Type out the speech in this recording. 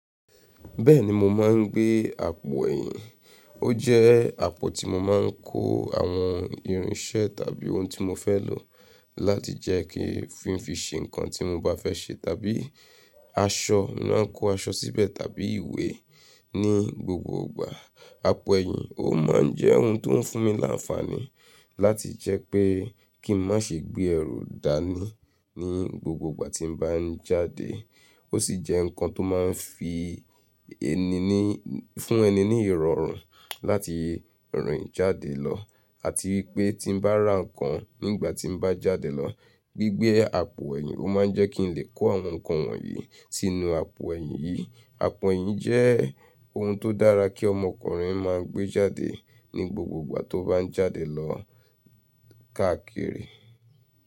Bẹ́ẹ̀ni mo máa ń gbé àpò ẹ̀yìn, ó jẹ́ àpò tí mo máa ń kó àwọn irinṣẹ́ tàbí ohun tí mo fẹ́ lò láti jẹ́ kí fún fi ṣe nǹkan tí mo bá fẹ́ ṣe, tàbí aṣọ, mo máa ń kó aṣọ síbẹ̀ tàbí ìwé ní gbogbo ìgbà. Àpò ẹ̀yìn ó máa ń jẹ́ ohun tó ń fún mi láǹfààní láti jẹ́ pé kí n má ṣe gbé ẹrù dání ní gbogbo ìgbà tí mo bá ń jáde. Ó sì jẹ́ nǹkan tó máa ń fi ẹni ní, fún ẹni ní ìrọ̀rùn láti rìn jáde lọ, àti wípé tí bá ra ǹkan nígbà tí mo bá jáde lọ, gbígbé àpò ẹ̀yìn ó máa ń jẹ́ kí n lè kó àwọn ǹkan wọ̀nyí sínú àpò ẹ̀yìn yìí. Àpò ẹ̀yìn jẹ́ ohun tó dára kí ọmọkùnrin máa gbé jáde ní gbogbo ìgbà tó bá ń jáde lọ káàkiri.